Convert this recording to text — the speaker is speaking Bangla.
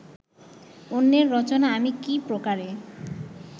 অন্যের রচনা আমি কি প্রকারে